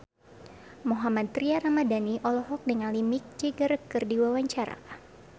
Mohammad Tria Ramadhani olohok ningali Mick Jagger keur diwawancara